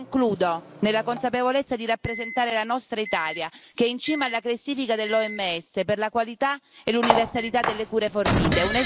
Concludo, nella consapevolezza di rappresentare la nostra Italia, che è in cima alla classifica dell'OMS per la qualità e l'universalità delle cure fornite.